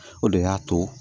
O de y'a to